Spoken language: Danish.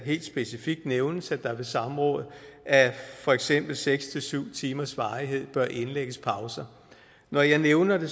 helt specifikt nævnes at der ved samråd af for eksempel seks syv timers varighed bør indlægges pauser når jeg nævner det